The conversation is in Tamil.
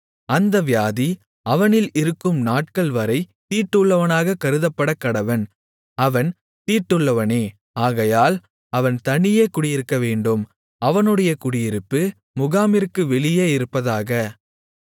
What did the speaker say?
அந்த வியாதி அவனில் இருக்கும் நாட்கள்வரை தீட்டுள்ளவனாக கருதப்படக்கடவன் அவன் தீட்டுள்ளவனே ஆகையால் அவன் தனியே குடியிருக்கவேண்டும் அவனுடைய குடியிருப்பு முகாமிற்கு வெளியே இருப்பதாக